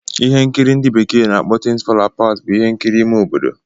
Ihe nkiri ndị bekee na-akpọ 'Things Fall apart' bụ ihe nkiri ime obodo.